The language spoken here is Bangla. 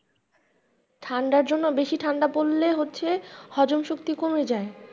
ঠান্ডার জন্য বেশি ঠান্ডা পড়লে হচ্ছে হজম শক্তি কমে যায়।